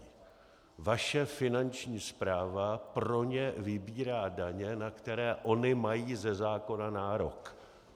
Vaše Finanční správa pro ně vybírá daně, na které ony mají ze zákona nárok.